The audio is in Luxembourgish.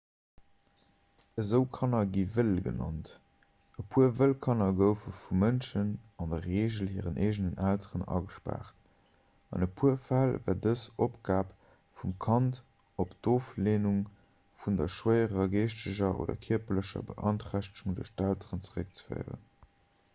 esou kanner gi wëll genannt. e puer wëll kanner goufe vu mënschen an der regel hiren eegenen elteren agespaart; an e puer fäll war dës opgab vum kand op d'ofleenung vun der schwéierer geeschteger oder kierperlecher beanträchtegung duerch d'elteren zeréckzeféieren